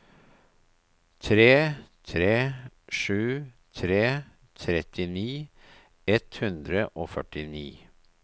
tre tre sju tre trettini ett hundre og førtini